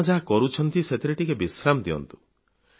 ଆପଣ ଯାହା କରୁଛନ୍ତି ସେଥିରେ ଟିକିଏ ବିଶ୍ରାମ ନିଅନ୍ତୁ